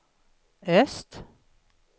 öst